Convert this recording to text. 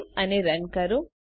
save અને run કરો